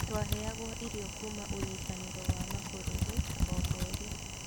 Twaheagwa irio kuuma unyitaniro wa mabũrũri omweri